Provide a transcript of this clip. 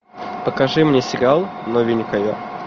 покажи мне сериал новенькая